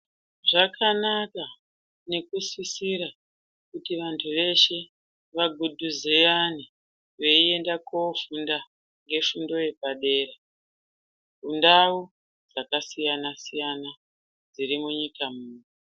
Zvakanaka nekusisira kuti vantu veshe vagudhuzeyane veienda kofunda ngefundo yepadera mundau dzakasiyana siyana dziri munyika muno.